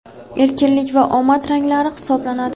erkinlik va omad ranglari hisoblanadi.